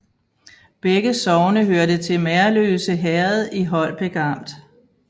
Begge sogne hørte til Merløse Herred i Holbæk Amt